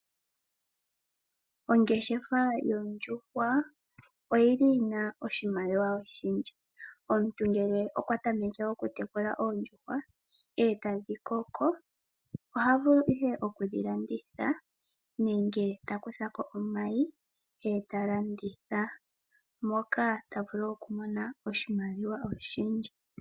Ongeshefa yoondjuhwa oyili yina oshimaliwa oshindji. Omuntu ngele okwa tameke okutekula oondjuhwa eta dhi koko, oha vulu ihe okudhi landitha nenge takutha ko omayi eta landitha moka tavulu okumona oshimaliwa oshindji.